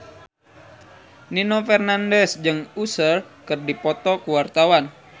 Nino Fernandez jeung Usher keur dipoto ku wartawan